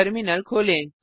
terminal खोलें